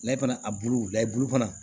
Layi fana a bulu layɛ bulu fana